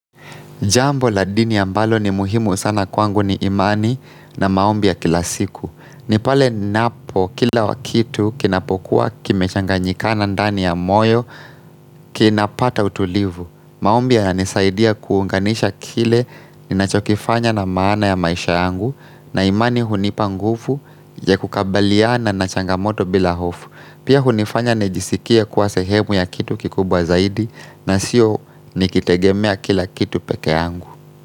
Jambo la dini ambalo ni muhimu sana kwangu ni imani na maombi ya kila siku. Ni pale napo kila kitu kinapokuwa kime changanyikana ndani ya moyo kinapata utulivu. Maombia yananisaidia kuunganisha kile ninachokifanya na maana ya maisha yangu na imani hunipa ngufu ya kukabaliana na changamoto bila hofu. Pia hunifanya nijisikia kuwa sehemu ya kitu kikubwa zaidi na sio nikitegemea kila kitu peke yangu.